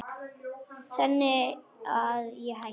Þannig að ég hætti.